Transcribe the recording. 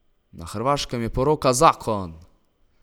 Na Hrvaškem je poroka zakon!